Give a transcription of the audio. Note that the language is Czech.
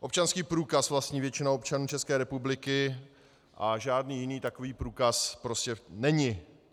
Občanský průkaz vlastní většina občanů České republiky a žádný jiný takový průkaz prostě není.